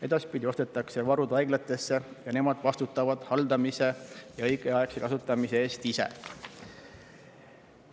Edaspidi ostetakse varud haiglatesse ning nemad vastutavad nende haldamise ja õigeaegse kasutamise eest ise.